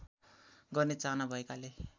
गर्ने चाहना भएकाले